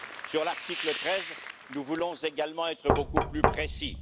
Sur l'article 13, nous voulons également être beaucoup plus précis.